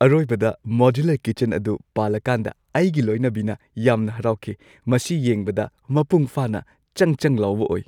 ꯑꯔꯣꯏꯕꯗ modular kitchen ꯑꯗꯨ ꯄꯥꯜꯂꯀꯥꯟꯗ ꯑꯩꯒꯤ ꯂꯣꯏꯅꯕꯤꯅ ꯌꯥꯝꯅ ꯍꯔꯥꯎꯈꯤ꯫ ꯃꯁꯤ ꯌꯦꯡꯕꯗ ꯃꯄꯨꯡ ꯐꯥꯅ ꯆꯪ ꯆꯪ ꯂꯥꯎꯕ ꯑꯣꯏ!